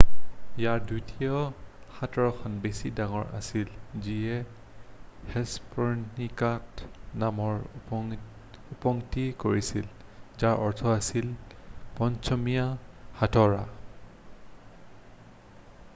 "ইয়াৰ দ্বিতীয় হাতোৰাখন বেছি ডাঙৰ আছিল যিয়ে হেষ্পৰণিকাচ নামৰ উৎপত্তি কৰাইছিল যাৰ অৰ্থ আছিল "পশ্চিমীয়া হাতোৰা""।""